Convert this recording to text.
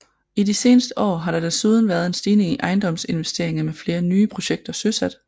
I de seneste år har der desuden været en stigning i ejendomsinvesteringer med flere nye projekter søsat